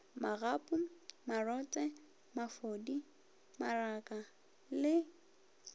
magapu marotse mafodi maraka le